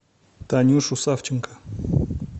танюшу савченко